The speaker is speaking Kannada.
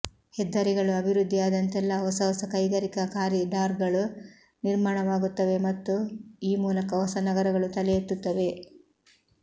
ಹೆದ್ದಾರಿಗಳು ಅಭಿವೃದ್ಧಿಯಾದಂತೆಲ್ಲ ಹೊಸ ಹೊಸ ಕೈಗಾರಿಕಾ ಕಾರಿಡಾರ್ಗಳು ನಿರ್ಮಾಣವಾಗುತ್ತವೆ ಮತ್ತು ಈ ಮೂಲಕ ಹೊಸ ನಗರಗಳು ತಲೆ ಎತ್ತುತ್ತವೆ